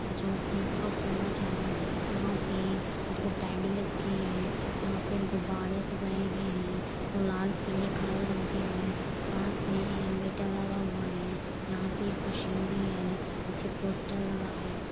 जोकि बहुत सुंदर है यहाँ पे दो टेडी रखे हैं। यहाँ पे गुब्बारे सजाये गये हैं लाल पीले काले रंग के है पास में इन्वेटर लगा हुआ है। यहाँ पे एक मशीन भी है पीछे पोस्टर लगा है।